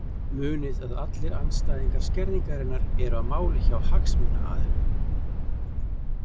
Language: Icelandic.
Munið að allir andstæðingar skerðingarinnar eru á máli hjá hagsmunaaðilum.